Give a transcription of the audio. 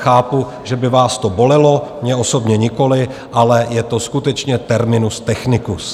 Chápu, že by vás to bolelo - mě osobně nikoliv, ale je to skutečně terminus technicus.